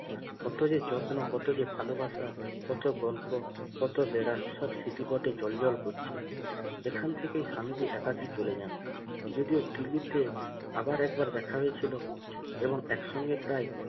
কত যে যত্ন কত যে ভালোবাসা কত গল্প কত বেরাম সব স্মৃতি পথে চলাচল করছে এখান থেকে স্বামীজি একা কি চলে যান যদিও দিল্লিতে আবার একবার দেখা হয়েছিল এবং একসঙ্গে প্রায়